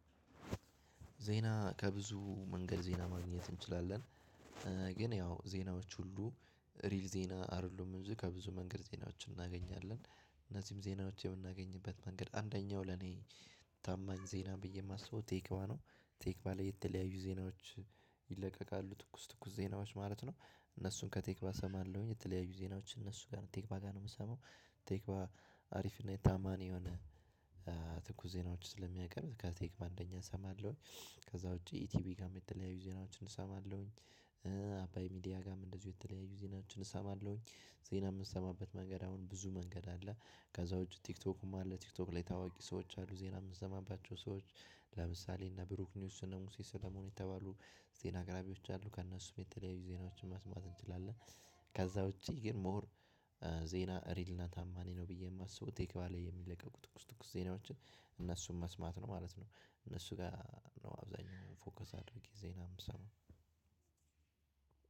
ዜና ከብዙ መንገድ ዜና ማግኘት እንችላለን። ግን ያው ዜናዎች ሁሉ ሪል ዜና አይደሉም እዚህ ከብዙ መንገድ ዜናዎችን እናገኛለን። እነዚህም ዜናዎች የምናገኝበት መንገድ አንደኛው ለኔ ታማኝ ዜና ብዬ የማስበው ቴክቫ ነው። ቴክቫ ላይ የተለያዩ ዜናዎች ይለቀቃሉ ትኩስ ትኩስ ዜናዎች ማለት ነው። እነሱን ከቴክቫ እሰማለሁኝ የተለያዩ ዜናዎች እነሱ ጋር ነው ቴክቫ ጋር ነው የምሰማው። ቴክቫ አሪፍ እና የታማኒ የሆነ ትኩስ ዜናዎች ስለሚያቀርቡት ከቴክቫ አንደኛ እሰማለሁኝ። ከዛ ውጪ ቲቪ ጋርም የተለያዩ ዜናዎችን እሰማለሁኝ። አባይ ሚዲያ ጋርም እንደዚሁ የተለያዩ ዜናዎችን እሰማለሁኝ። ዜና የምሰማበት መንገድ አሁን ብዙ መንገድ አለ። ከዛ ውጪ ቲክቶኩም አለ ቲክቶክ ላይ ታዋቂ ሰዎች አሉ ዜና የምትሰማባቸው ሰዎች ለምሳሌ እነ ብሩክ ኒውስ እነ ሙሴ ሰለሞን የተባሉ ዜና አቅራቢዎች አሉ ከእነሱም የተለያዩ ዜናዎችን መስማት እንችላለን። ከዛ ውጭ ግን ሞር ዜና ሪል እና ታማኒ ነው ብዬ የማስበው ቴክቫ ላይ የሚለቀቁ ትኩስ ትኩስ ዜናዎችን እነሱን መስማት ነው ማለት ነው። እነሱ ገር ነው አብዛሀኛውን ጊዜ ፎከስ አድርጌ ዜና የምሰማው።